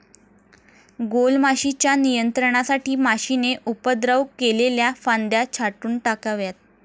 गॊलमाशीच्या नियंत्रणासाठी माशीने उपद्रव केलेल्या फांद्या छाटून टाकाव्यात.